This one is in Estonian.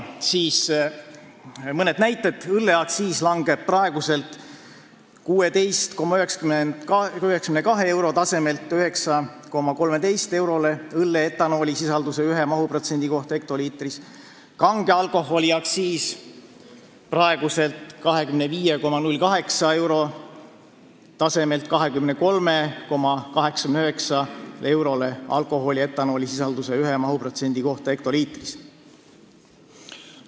Selle eelnõuga langeb õlleaktsiis praeguselt 16,92 eurolt 9,13 eurole õlle etanoolisisalduse ühe mahuprotsendi kohta hektoliitris ja kange alkoholi aktsiis praeguselt 25,08 eurolt 23,89 eurole alkoholi etanoolisisalduse ühe mahuprotsendi kohta hektoliitris.